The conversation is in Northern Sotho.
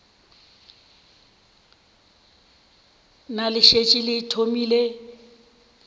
na le šetše le thomile